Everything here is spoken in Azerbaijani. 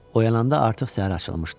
Oyananda artıq səhər açılmışdı.